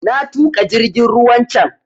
Na tuƙa jingin ruwan can